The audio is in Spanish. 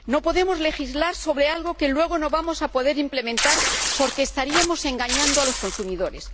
no podemos legislar sobre algo que luego no vamos a poder implementar, porque estaríamos engañando a los consumidores.